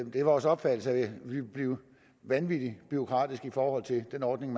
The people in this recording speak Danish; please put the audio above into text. vores opfattelse at det vil blive vanvittigt bureaukratisk i forhold til den ordning